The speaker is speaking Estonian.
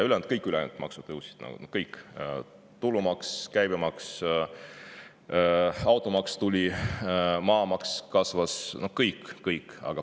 Aga kõik ülejäänud maksud tõusid, kõik: tulumaks, käibemaks, tuli automaks, maamaks kasvas, no kõik, kõik.